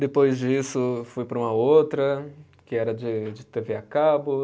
Depois disso, fui para uma outra, que era de de t vê a cabo.